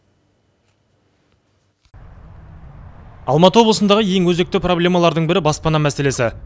алматы облысындағы ең өзекті проблемалардың бірі баспана мәселесі